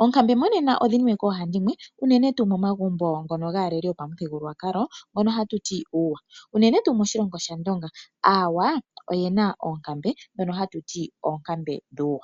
Oonkambe mo nena odhi niwe koohandimwe uunene tuu momagumbo ngono gaaleli yopamuthigululwakalo ngono hatuti uuwa unene tuu moshilongo shAndonga aawa oyena oonkambe ndhono ha tuti oonkambe dhuuwa.